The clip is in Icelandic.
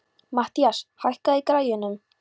Mathías, hækkaðu í græjunum.